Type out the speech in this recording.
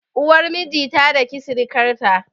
Uwar miji ta daki sirikar ta